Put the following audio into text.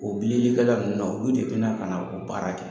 O bililikɛla ninnu na olu de bɛ na ka n'o baara kɛ.